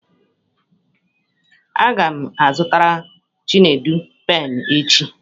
A ga m azụtara Chinedu penụ echi.